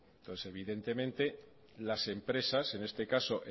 entonces evidentemente las empresas en este caso